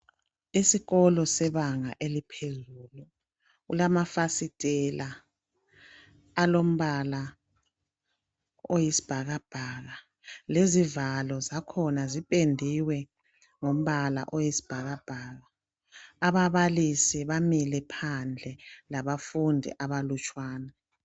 Esikolo sebanga eliphezulu, kulama fasitela alombala oyisibhakabhaka, lezivalo zakhona zipendiwe ngombala oyisibhakabhaka. Ababalisi bamile phandle labafundi abalutshwane.